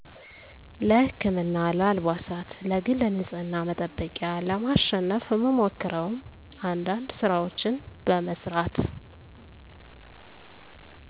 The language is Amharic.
ለ ህክምና ለ አልባሳት ለግል ንጽህና መጠበቂያ ለማሸነፍ ምሞክረውም አንዳንድ ስራወችን በመስራት